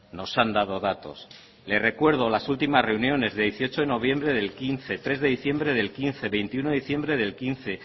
nos han dado datos le recuerdo las últimas reuniones de dieciocho de noviembre del quince tres de diciembre del quince veintiuno de diciembre del quince